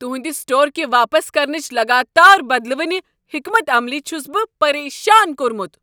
تہٕنٛد store كہ واپس كرنٕچہِ لگاتار بدلوٕنہِ حكمت عملی چھس بہٕ پریشان كورمُت۔